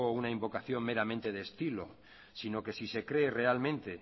una invocación meramente de estilo sino que si cree realmente